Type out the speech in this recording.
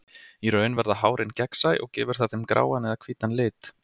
Í raun verða hárin gegnsæ og gefur það þeim gráan eða hvítan lit.